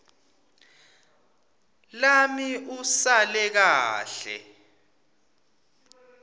lami usale kahle